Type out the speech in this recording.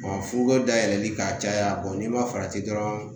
Furu dayɛlɛli ka caya n'i ma farati dɔrɔn